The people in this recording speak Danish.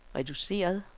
reduceret